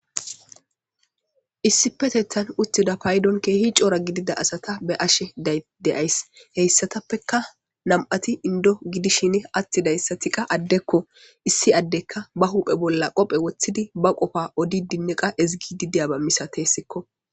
issipetethan uttida paydon keehi coora gidida asata be ashe deyays heyssatappeka nam7ati indo gidishin attidayssati qa addekko issi addekka ba huphe bolla qophe woththidi ba qofa odi dinniqa ezigi dideyaba misatessikko.